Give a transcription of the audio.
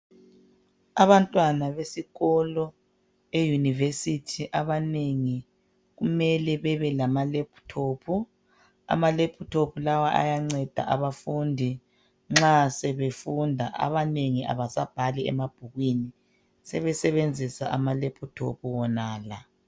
Abantwana besikolo eyunivesithi abanengi kumele bebe lama "laptop" , ama "laptop" lawa ayanceda abafundi nxa sebefunda abanengi abasabhali emabhukwini sebesebenzisa ama "laptop" wonala .